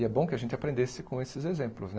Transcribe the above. E é bom que a gente aprendesse com esses exemplos né.